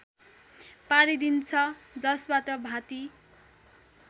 पारिदिन्छ जसबाट भाँति